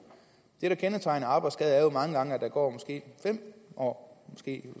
det der kendetegner arbejdsskader er jo mange gange at der går måske fem år måske